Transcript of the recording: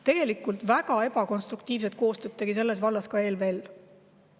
Tegelikult väga ebakonstruktiivset koostööd tegi selles vallas ka ELVL.